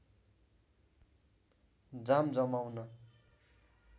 जाम जमाउने